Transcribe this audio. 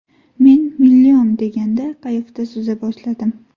Men ‘Million’ degan qayiqda suza boshladim.